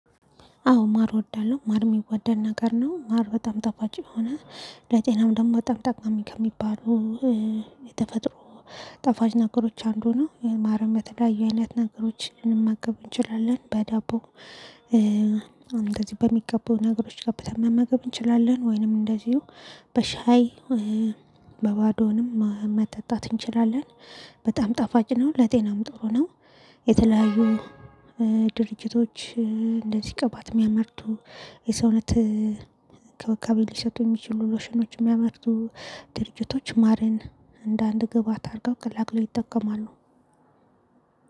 አዎ ማር እወዳለሁ ማር የሚወደድ ነገር ነው። ማር በጣም ጣፋጭ የሆነ ለጤናም ደግሞ በጣም ጠቃሚ ከሚባሉ የተፈጥሮ ጣፋጭ ነገሮች አንዱ ነው። ማርን በተለያዩ አይነት ነገሮች ልንመገብ እንችላለን በዳቦ። እንደዚህ በሚገባው ነገሮች ገብተን መመገብ እንችላለን ወይንም እንደዚሁ በሻይ በባዶንም መጠጣት እንችላለን። በጣም ጣፋጭ ነው። ለጤናም ጥሩ ነው። የተለያዩ ድርጅቶች እንደዚህ ቅባት የሚያመርቱ የሰውነት እንክብካቤ ሊሰጡ የሚችሉ ሎሽኖች የሚያመርቱ ድርጅቶች ማርን እንደ አንድ ግብአት አድርገው ቀላቅለው ይጠቀማሉ